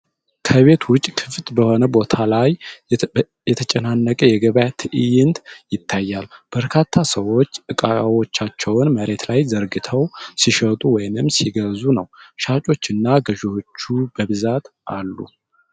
ከቤት ውጪ ክፍት በሆነ ቦታ ላይ የተጨናነቀ የገበያ ትዕይንት ይታያል። በርካታ ሰዎች እቃዎቻቸውን መሬት ላይ ዘርግተው ሲሸጡ ወይም ሲገዙ ነው። ሻጮችና ገዥዎች በብዛት አሉ።